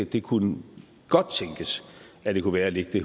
det kunne godt tænkes at den kunne være at lægge det